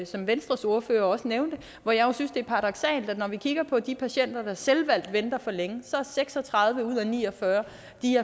som venstres ordfører også nævnte hvor jeg jo synes det er paradoksalt at når vi kigger på de patienter der selvvalgt venter for længe er seks og tredive ud af ni og fyrre